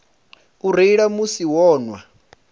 u reila musi vho nwa